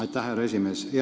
Aitäh, härra esimees!